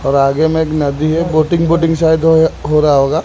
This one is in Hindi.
और आगे में एक नदी है बोटिंग वोटिंग शायद हो रहा होगा।